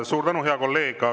Suur tänu, hea kolleeg!